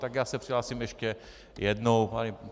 Tak já se přihlásím ještě jednou.